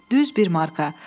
Düz bir marka.